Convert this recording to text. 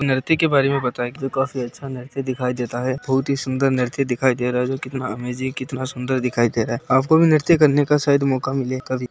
नृत्य के बारे में बताया गया है जो काफी अच्छा नृत्य दिखाई देता है बहुत ही सुंदर नृत्य दिखाई दे रहा है जो कितना अमेजिंग कितना सुंदर दिखाई दे रहा है आपको भी नृत्य करने का शायद मौका मिले कभी।